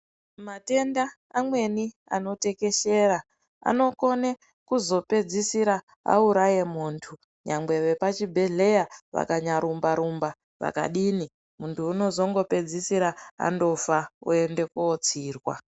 Matenda amweni ano tekeshera ano kone kuzo pedzisira auraye muntu nyangwe vepa chibhedhleya vakanya rumba rumba vaka dini muntu unozongo pedzisiri andofa oyende ko tsirwa.